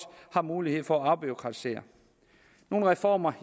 har mulighed for at afbureaukratisere nogle reformer